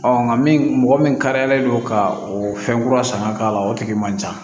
nka min mɔgɔ min kariyalen don ka o fɛn kura san ka k'a la o tigi man ca